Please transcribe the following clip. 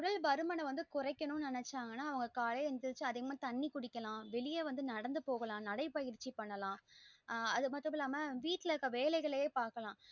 உடல் பருமன குறைக்கணும் நெனச்சாங்கன்னா அவங்க காலையில எழுந்துருச்சு தண்ணீ குடிக்கலாம் வெளிய வந்து நடந்து போகலாம் நடை பயிற்சி பண்ணலாம் ஆஹ் அது மட்டும் இல்லாம வீட்டுல இருக்குற வேலைகளே பாக்கலாம்